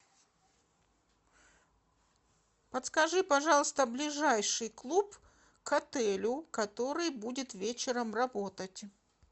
подскажи пожалуйста ближайший клуб к отелю который будет вечером работать